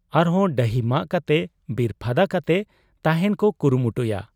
ᱟᱨᱦᱚᱸ ᱰᱟᱹᱦᱤᱢᱟᱜ ᱠᱟᱛᱮ ᱵᱤᱨ ᱯᱷᱟᱫᱟ ᱠᱟᱛᱮ ᱛᱟᱦᱮᱸᱱ ᱠᱚ ᱠᱩᱨᱩᱢᱩᱴᱩᱭᱟ ᱾